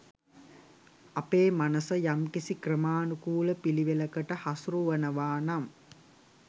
අපේ මනස යම්කිසි ක්‍රමාණුකූල පිළිවෙලකට හසුරුවනවා නම්